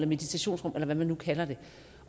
meditationsrum eller hvad man nu kalder det